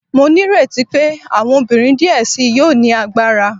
Mo nireti pe awọn obinrin diẹ sii yoo ni agbara